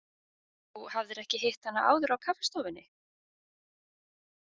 Þú hafðir ekki hitt hana áður á kaffistofunni?